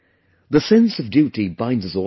The sense of duty binds us all together